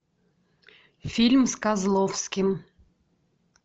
фильм с козловским